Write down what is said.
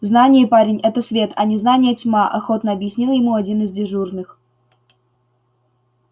знание парень это свет а незнание тьма охотно объяснил ему один из дежурных